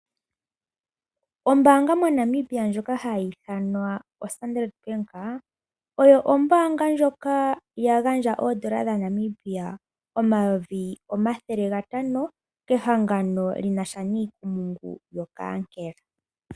Ombanga moNamibia ndjoka hayithanwa Standard Bank , oyo ombanga ndjoka yagandja oondola dhaNamibia omayovi omathele gatano kehangano linasha nikumungu yokankela.